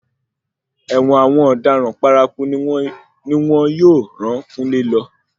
Ẹ̀wọ̀n àwọn ọ̀daràn paraku ni wọn yóò ràn kúnlé lọ.